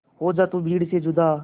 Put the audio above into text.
हो जा तू भीड़ से जुदा